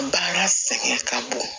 Baara sɛgɛn ka bon